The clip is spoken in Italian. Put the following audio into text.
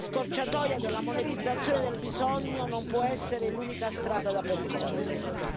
La scorciatoia della monetizzazione del bisogno non può essere l'unica strada da percorrere.